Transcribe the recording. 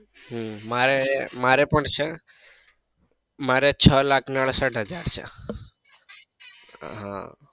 હમ મારે મારે પણ છે મારે છ લાખ ને અડસઠ હજાર.